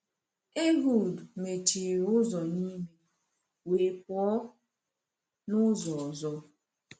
Ehud mechiri ụzọ n’ime, wee pụọ n’ụzọ ọzọ?